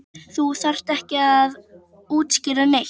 Þú þarft ekki að útskýra neitt.